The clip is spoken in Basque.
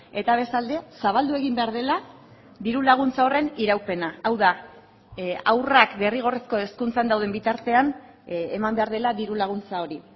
eta bestalde zabaldu egin behar dela diru laguntza horren iraupena hau da haurrak derrigorrezko hezkuntzan dauden bitartean eman behar dela diru laguntza hori